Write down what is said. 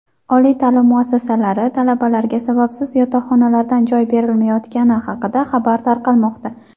oliy taʼlim muassasalari talabalarga sababsiz yotoqxonalardan joy berilmayotgani haqida xabarlar tarqalmoqda.